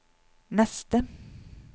neste